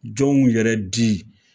Jɔn gun yɛrɛ di